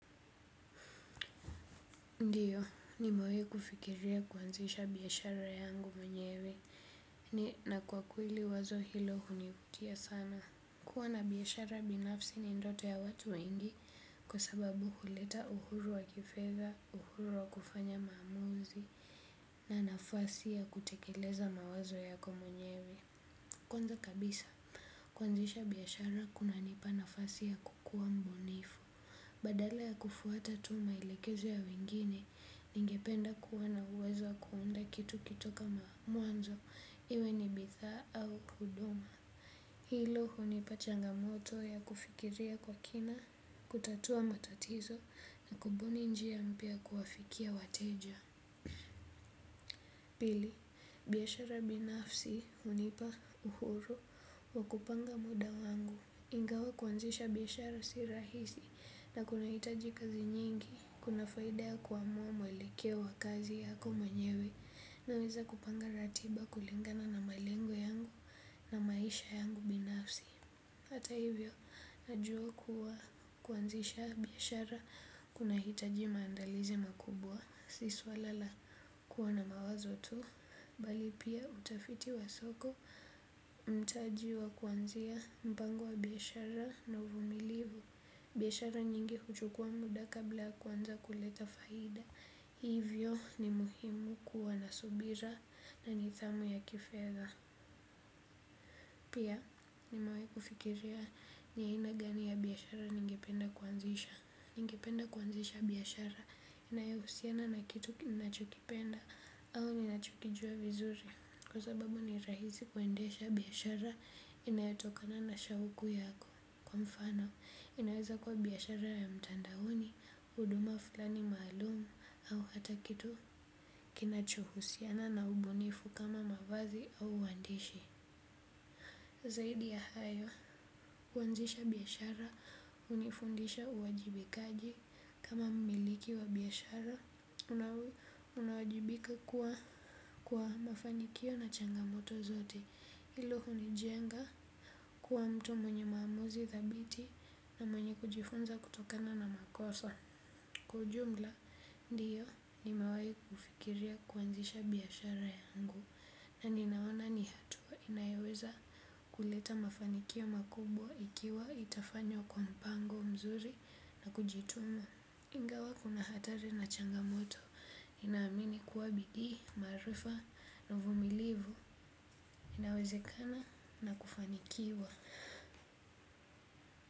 Ndiyo, nimewai kufikiria kuanzisha biashara yangu mwenyewe, ni na kwa kweli wazo hilo hunivutia sana. Kuwa na biashara binafsi ni ndoto ya watu wengi kwa sababu huleta uhuru wa kifedha, uhuru wa kufanya maamuzi na nafasi ya kutekeleza mawazo yako mwenyewe. Kwanza kabisa, kwanzisha biashara kuna nipa nafasi ya kukuwa mubunifu. Badala ya kufuata tu maelekezo ya wengine, ningependa kuwa na uwezo kuunda kitu kitoka ma, mwanzo, iwe ni bidhaa au huduma. Hilo hunipa changamoto ya kufikiria kwa kina, kutatua matatizo na kubuni njia mpya kuwafikia wateja. Pili, biashara binafsi hunipa uhuru wa kupanga muda wangu. Ingawa kuanzisha biashara si rahisi na kunahitaji kazi nyingi, kuna faida ya kuamuwa mwelekeo wa kazi yako mwenyewe naweza kupanga ratiba kulingana na malengo yangu na maisha yangu binafsi. Hata hivyo najua kuwa kuanzisha biashara kunahitaji maandalizi makubwa si swala la kuwa na mawazo tu, bali pia utafiti wa soko, mtaji wa kuanzia mpango wa biashara na uvumilivu. Biashara nyingi huchukua muda kabla kuanza kuleta faida, hivyo ni muhimu kuwa na subira na nidhamu ya kifedha. Pia nimewai kufikiria ni aina gani ya biashara ningependa kuanzisha. Ningependa kuanzisha biashara inayohusiana na kitu ki, ninachokipenda au ninachokijua vizuri. Kwa sababu ni rahisi kuendesha biashara inayatokana na shauku yako kwa mfano. Inaweza kuwa biashara ya mtandaoni, huduma fulani maalumu au hata kitu kinachohusiana na ubunifu kama mavazi au uwandishi. Zaidi ya hayo, kuanzisha biashara hunifundisha uwajibikaji kama mumiliki wa biashara unawajibika kuwa kwa mafanikio na changamoto zote. Hilo hunijenga kuwa mtu mwenye maamuzi dhabiti na mwenye kujifunza kutokana na makoso. Kwa ujumla ndiyo nimewai kufikiria kuanzisha biashara yangu na ninaona ni hatua inayoweza kuleta mafanikio makubwa ikiwa itafanywa kwa mpango mzuri na kujituma. Ingawa kuna hatari na changamoto nina amini kuwa bidii, maarifa, na uvumilivu inawezekana na kufanikiwa.